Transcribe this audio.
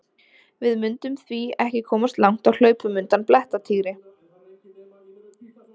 Við mundum því ekki komast langt á hlaupum undan blettatígri!